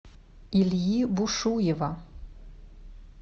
ильи бушуева